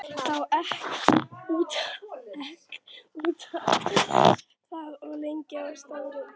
Þá ek ég út af og lendi í skafli.